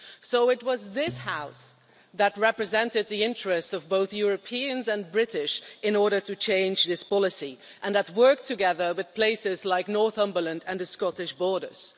So it was this House which represented the interests of both Europeans and British in order to change that policy, and which worked together with places like Northumberland and the Scottish Borders.